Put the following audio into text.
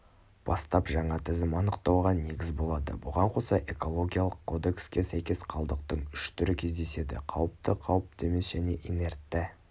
бастап жаңа тізім анықтауға негіз болады бұған қоса экологиялық кодекске сәйкес қалдықтың үш түрі кездеседі қауіпті қауіпті емес және инертті